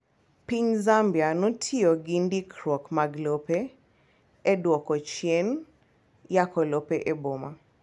Piny Zambia notiyogi ndikruok mag lope eduoko chien yako lope eboma.